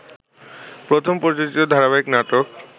প্রথম প্রযোজিত ধারাবাহিক নাটক